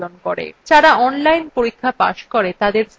যারা online পরীক্ষা pass করে তাদের certificates দেয়